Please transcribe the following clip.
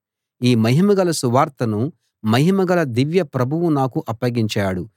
ఈ మహిమగల సువార్తను మహిమగల దివ్య ప్రభువు నాకు అప్పగించాడు